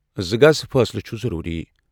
زٕ گز فٲصلہٕ چُھ ضروری۔